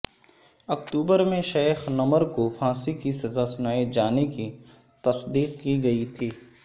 اکتوبر میں Sheikh Nimr کو پھانسی کی سزا سنائے جانے کی تصدیق کی گئی تھی